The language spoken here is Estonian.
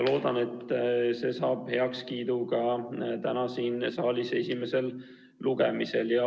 Loodan, et see saab heakskiidu ka täna siin saalis esimesel lugemisel.